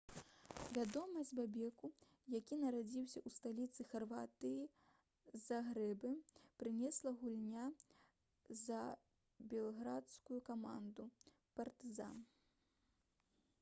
вядомасць бобеку які нарадзіўся ў сталіцы харватыі загрэбе прынесла гульня за белградскую каманду «партызан»